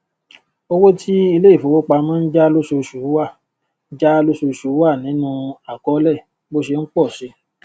owó tí ilé ìfowópamọ n já lóṣooṣù wà já lóṣooṣù wà nínú akọólẹ bó ṣe n pọ si